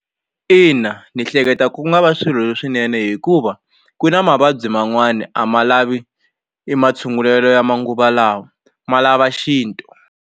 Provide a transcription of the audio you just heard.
Ina ni hleketa ku nga va swilo swinene hikuva ku na mavabyi man'wani a ma lavi e ma tshungulelo ya manguva lawa ma lava xintu.